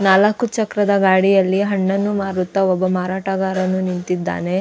ನಾಲಕ್ಕು ಚಕ್ರದ ಗಾಡಿಯಲ್ಲಿ ಹಣ್ಣನ್ನು ಮಾರುತ್ತ ಒಬ್ಬ ಮಾರಾಟಗಾರನು ನಿಂತಿದ್ದಾನೆ .